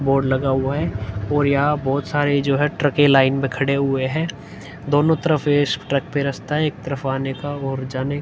Board लगा हुवा है और यहाँ बहोत सारे जो है ट्रकें लाइन में खड़े हुए हैं। दोनों तरफ इस ट्रक पे रस्ता है एक तरफ आने का और जाने --